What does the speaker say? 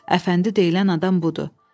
Əfəndi deyilən adam budur.